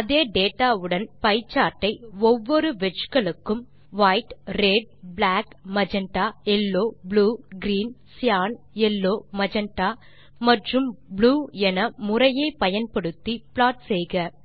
அதே டேட்டா வுடன் pie chart ஐ ஒவ்வொரு wedgeகளுக்கும் வைட் ரெட் பிளாக் magentaயெல்லோ blue green cyan yellow magenta மற்றும் ப்ளூ என முறையே பயன்படுத்தி ப்ளாட் செய்க